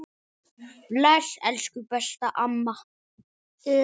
Bless, elsku besta mamma.